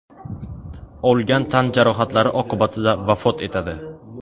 olgan tan jarohatlari oqibatida vafot etadi.